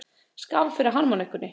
Skál fyrir harmonikkunni!